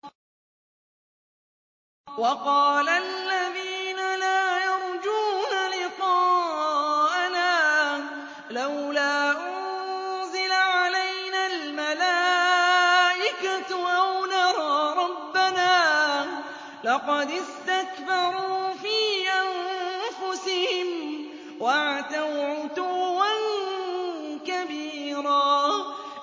۞ وَقَالَ الَّذِينَ لَا يَرْجُونَ لِقَاءَنَا لَوْلَا أُنزِلَ عَلَيْنَا الْمَلَائِكَةُ أَوْ نَرَىٰ رَبَّنَا ۗ لَقَدِ اسْتَكْبَرُوا فِي أَنفُسِهِمْ وَعَتَوْا عُتُوًّا كَبِيرًا